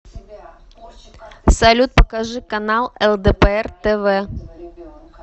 салют покажи канал лдпр тв